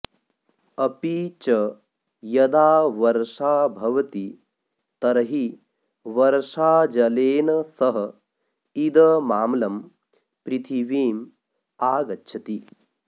अपि च यदा वर्षा भवति तर्हि वर्षाजलेन सह इदमाम्लं पृथिवीम् आगच्छति